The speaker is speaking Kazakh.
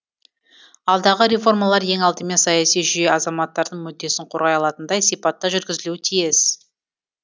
алдағы реформалар ең алдымен саяси жүйе азаматтардың мүддесін қорғай алатындай сипатта жүргізілуі тиіс